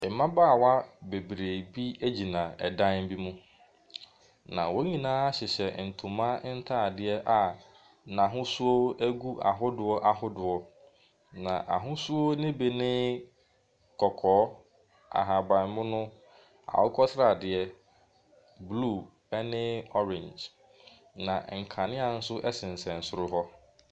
Mmabaawa bebree bi gyina dan bi mu, na wɔn nyina hyehyɛ ntoma ntadeɛ a n'ahosuo gu ahodoɔ ahodoɔ. Na ahosuo no bi ne kɔkɔɔ, ahabammono, akokɔsradeɛ, blue ne orange. Na nkanea nso sensɛm soro hɔ.